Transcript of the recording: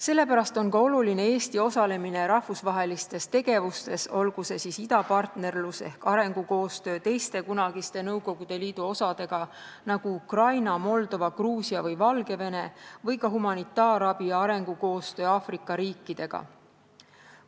Sellepärast on ka oluline Eesti osalemine rahvusvahelistes tegevustes, olgu see siis idapartnerlus ehk arengukoostöö teiste kunagiste Nõukogude Liidu osadega, nagu Ukraina, Moldova, Gruusia või Valgevene, või ka arengukoostöö Aafrika riikidega ja humanitaarabi andmine.